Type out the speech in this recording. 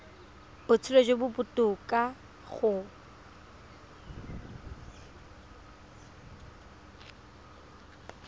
botshelo jo bo botoka go